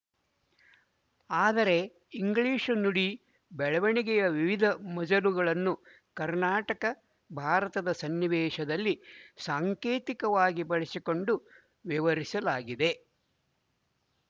ಆದರೆ ಇಂಗ್ಲಿಶು ನುಡಿ ಬೆಳವಣಿಗೆಯ ವಿವಿಧ ಮಜಲುಗಳನ್ನು ಕರ್ನಾಟಕಭಾರತದ ಸನ್ನಿವೇಶದಲ್ಲಿ ಸಾಂಕೇತಿಕವಾಗಿ ಬಳಸಿಕೊಂಡು ವಿವರಿಸಲಾಗಿದೆ